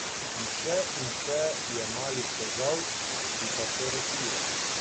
In še in še je malih težav, ki pa so rešljive.